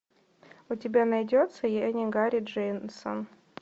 у тебя найдется я не гарри дженсон